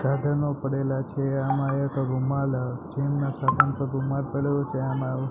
સાધનો પડેલા છે આમાં એક રૂમાલ જીમ ના સાધન પર રૂમાલ પડેલો છે આમાં એવુ --